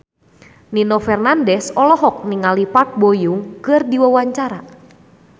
Nino Fernandez olohok ningali Park Bo Yung keur diwawancara